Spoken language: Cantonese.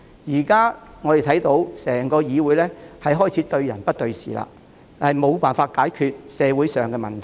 現時我們看到整個議會開始對人不對事，無法解決社會上的問題。